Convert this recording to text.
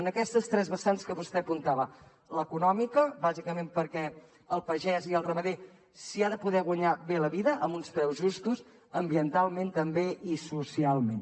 en aquestes tres vessants que vostè apuntava l’econòmica bàsicament perquè el pagès i el ramader s’hi han de poder guanyar bé la vida amb uns preus justos ambientalment també i socialment